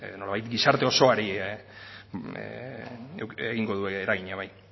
nolabait gizarte osoari egingo dio eragina bai